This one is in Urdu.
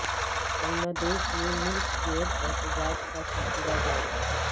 بنگلہ دیش میں ملک گیر احتجاج کا سلسلہ جاری